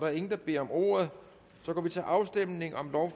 er ingen der beder om ordet og så går vi til afstemning